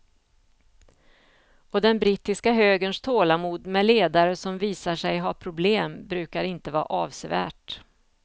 Och den brittiska högerns tålamod med ledare som visar sig ha problem brukar inte vara avsevärt.